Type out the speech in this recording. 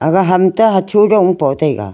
aga ham te hacho dong e po taiga.